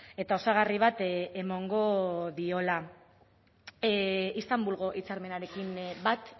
eta osagarri bat emango diola istanbulgo hitzarmenarekin bat